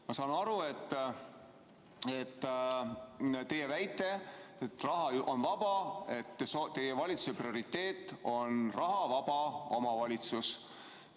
Ma saan aru teie väitest, et raha on vaba, sedasi, et teie valitsuse prioriteet on rahavaba omavalitsus.